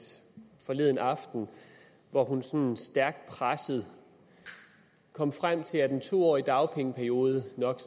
forleden aften hvor hun sådan stærkt presset kom frem til at en to årig dagpengeperiode nok